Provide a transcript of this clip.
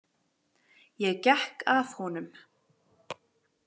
Ég gekk að honum.